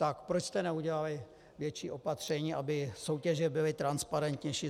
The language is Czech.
Tak proč jste neudělali větší opatření, aby soutěže byly transparentnější?